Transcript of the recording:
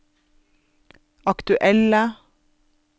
aktuelle